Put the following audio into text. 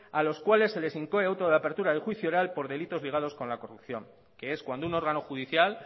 a los cuales se les incoé auto de apertura de juicio oral por delitos ligados con la corrupción que es cuando un órgano judicial